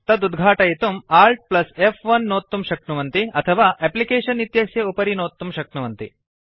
तत् उद्घाटयितुं Alt F one नोत्तुं शक्नुवन्ति अथवा एप्लिकेशन इत्यस्य उपरि नोत्तुं शक्नुवन्ति